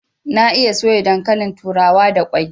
Na iya soya dankalin turawa da kwai